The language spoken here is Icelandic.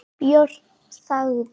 Björn þagði.